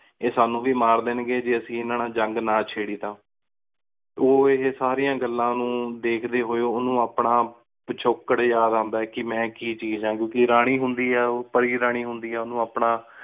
ਅਸੀ ਸਾਨੂੰ ਵੇ ਮਾਰ ਦੇਣ ਗੀ ਜੇ ਅਸੀਂ ਏਨਾ ਨਾਲ ਜੰਗ ਨਾ ਛੇੜੀ ਤਾਂ ਉ ਇਹ ਸਾਰਿਆਂ ਗੱਲਾਂ ਨੂ ਦੇਖਦੇ ਹੋਏ ਉਨੂੰ ਆਪਣਾ ਪਿਛੋਕੜ ਯਾਦ ਓੰਦਾ ਹੈ ਕਿ ਮੈਂ ਕੀ ਚੀਜ਼ ਆਂ। ਵੀ ਰਾਨੀ ਹੁੰਦੀ ਆਯ ਉ ਪਰੀ ਰਾਨੀ ਹੁੰਦੀ ਆਯ ਉਨੂ ਆਪਣਾ